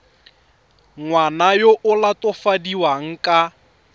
ngwana yo o latofadiwang ka